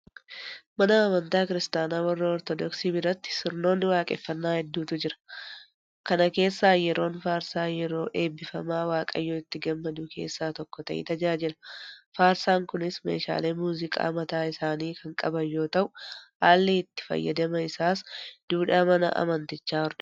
Mana amantaa kiristaanaa warra Ortodoksii biratti sirnoonni waaqeffannaa hedduutu jira. Kana keessaa yeroon faarsaa yeroo eebbifamaa waaqayyo itti gammadu keessaa tokko ta'ee tajaajila. Faarsaan kunis meeshaalee muuziqaa mataa isaanii kan qaban yoota'u; haalli itti fayyadama isaas duudhaa mana amantichaa hordofeeti.